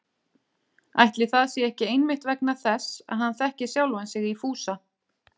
Ætli það sé ekki einmitt vegna þess að hann þekkir sjálfan sig í Fúsa